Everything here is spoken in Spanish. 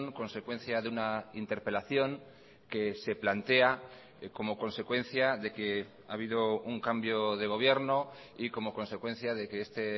consecuencia de una interpelación que se plantea como consecuencia de que ha habido un cambio de gobierno y como consecuencia de que este